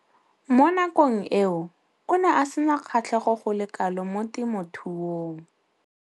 Mo nakong eo o ne a sena kgatlhego go le kalo mo temothuong.